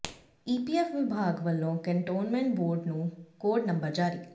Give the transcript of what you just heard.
EPF ਵਿਭਾਗ ਵੱਲੋਂ cantonment board ਨੂੰ ਕੋਡ ਨੰਬਰ ਜਾਰੀ